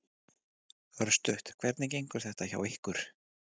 Örstutt, hvernig gengur þetta hjá ykkur?